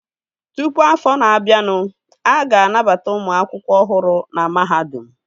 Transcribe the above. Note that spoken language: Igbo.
Tụpụ afọ na-abịanụ, a ga-anabata ụmụ akwụkwọ ọhụrụ na mahadum